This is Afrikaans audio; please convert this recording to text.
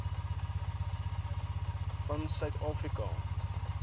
van suid afrika